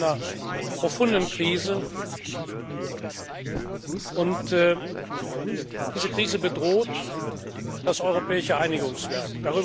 Wir sind in einer profunden Krise, und diese Krise bedroht das europäische Einigungswerk.